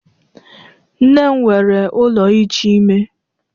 Nne m nwere ụlọ iji ime.